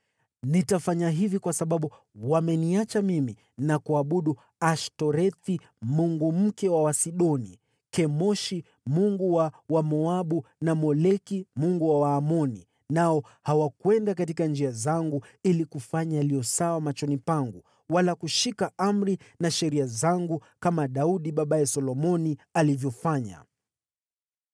Nitafanya hivi kwa sababu wameniacha mimi na kuabudu Ashtorethi mungu mke wa Wasidoni, Kemoshi mungu wa Wamoabu, na Moleki mungu wa Waamoni, nao hawakwenda katika njia zangu ili kufanya yaliyo sawa machoni pangu, wala kushika amri na sheria zangu kama Daudi, babaye Solomoni, alivyofanya.